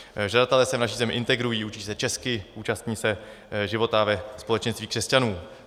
Žadatelé se v naší zemi integrují, učí se česky, účastní se života ve společenství křesťanů.